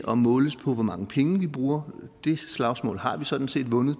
at måles på hvor mange penge vi bruger det slagsmål har vi sådan set